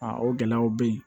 Aa o gɛlɛyaw bɛ yen